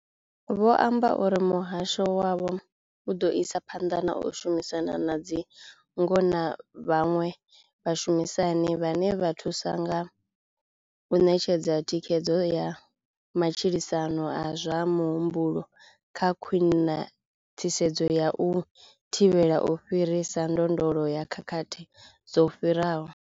Vho amba uri muhasho wavho u ḓo isa phanḓa na u shumisana na dzingo na vhaṅwe vhashumisani vhane vha thusa kha u ṋetshedza thikhedzo ya matshilisano a zwa muhumbulo kha khwaṱhisedzo ya u thivhela u fhirisa ndondolo ya khakhathi dzo fhiraho.